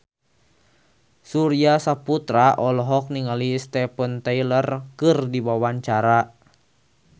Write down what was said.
Surya Saputra olohok ningali Steven Tyler keur diwawancara